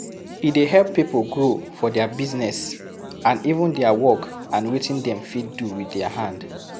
E de help pipo grow for their business and even their work and wetin dem fit do with their hand